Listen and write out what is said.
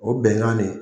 O bɛnkan de